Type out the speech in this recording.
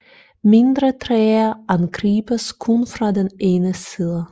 Mindre træer angribes kun fra den ene side